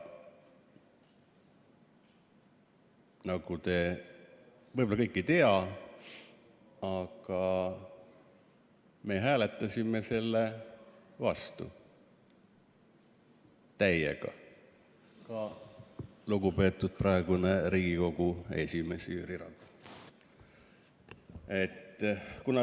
Te võib-olla kõik ei tea, et me hääletasime selle vastu täiega, ka lugupeetud praegune Riigikogu esimees Jüri Ratas.